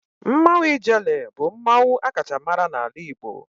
Mmanwu ijele bu mmanwu a kacha mara n'ala Igbo